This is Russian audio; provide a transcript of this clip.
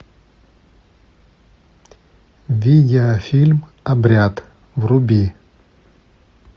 видеофильм обряд вруби